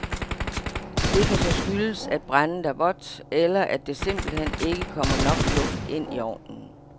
Det kan så skyldes, at brændet er vådt, eller at der simpelthen ikke kommer nok luft ind i ovnen.